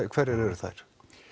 hverjar eru þær